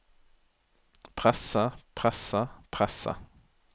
presse presse presse